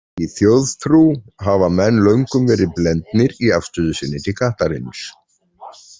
Í þjóðtrú hafa menn löngum verið blendnir í afstöðu sinni til kattarins.